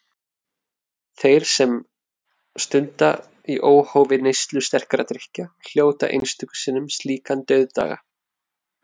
Þeir, sem stunda í óhófi neyslu sterkra drykkja, hljóta einstöku sinnum slíkan dauðdaga.